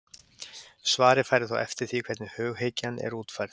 Svarið færi þó eftir því hvernig hughyggjan er útfærð.